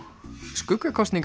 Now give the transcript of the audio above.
skuggakosningar